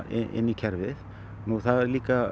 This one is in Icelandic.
inn í kerfið nú það er líka